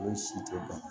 O si tɛ ban